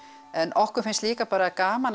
en okkur finnst líka bara gaman að